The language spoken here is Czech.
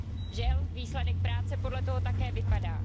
Žel výsledek práce podle toho také vypadá.